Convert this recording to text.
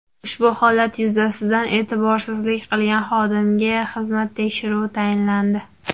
Ushbu holat yuzasidan e’tiborsizlik qilgan xodimga xizmat tekshiruvi tayinlandi.